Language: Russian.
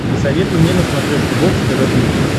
посоветуй мне на смотрешке бокс тв плюс